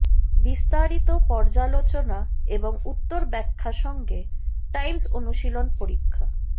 বিস্তারিত পর্যালোচনা এবং উত্তর ব্যাখ্যা সঙ্গে টাইমস অনুশীলন পরীক্ষা